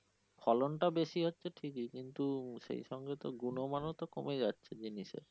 ফলন টা বেশি হচ্ছে ঠিকই কিন্তু সেই সঙ্গে তো গুনমানও তো কমে যাচ্ছে জিনিসের।